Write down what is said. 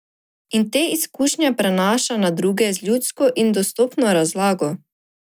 In te izkušnje prenaša na druge z ljudsko in dostopno razlago.